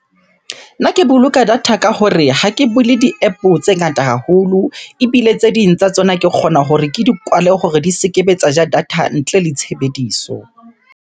Nna ke boloka data ka hore ha ke bule di-App-o tse ngata haholo. Ebile tse ding tsa tsona, ke kgona hore ke di kwale hore di se ke be tsa ja data ntle le tshebediso.